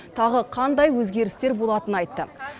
тағы қандай өзгерістер болатынын айтты